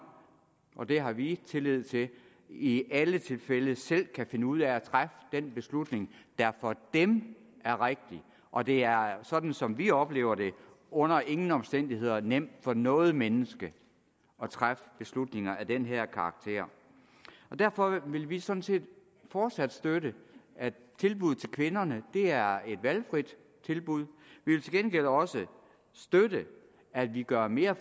og det har vi tillid til i alle tilfælde selv kan finde ud af at træffe den beslutning der for dem er rigtig og det er sådan som vi oplever det under ingen omstændigheder nemt for noget menneske at træffe beslutninger af den her karakter derfor vil vi sådan set fortsat støtte at tilbuddet til kvinderne er et valgfrit tilbud vi vil til gengæld også støtte at vi gør mere